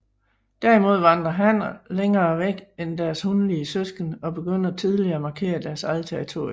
Derimod vandrer hanner længere væk end deres hunlige søskende og begynder tidligere at markere deres eget territorium